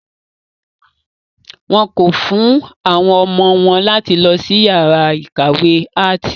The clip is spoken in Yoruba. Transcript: Wọ́n kọ̀ fún àwọn ọmọ wọn láti lọ sí yàrá ìkàwé áàtì.